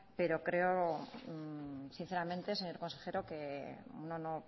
pero creo sinceramente señor consejero que no